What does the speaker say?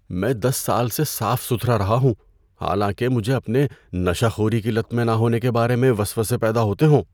میں دس سال سے صاف ستھرا رہا ہوں حالانکہ مجھے اپنے نشہ خوری کی لت میں نہ ہونے کے بارے میں وسوسے پیدا ہوتے ہوں۔